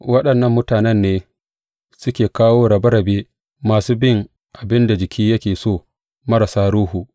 Waɗannan mutanen ne, suke kawo rabe rabe, masu bin abin da jiki yake so, marasa Ruhu.